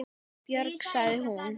Björg, sagði hún.